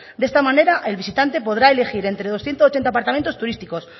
de esta manera el visitante podrá elegir entre doscientos ocho apartamentos turísticos